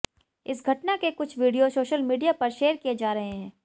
इस घटना के कुछ वीडियो सोशल मीडिया पर शेयर किए जा रहे हैं